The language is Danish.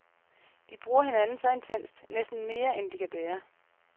De bruger hinanden så intenst, næsten mere end de kan bære.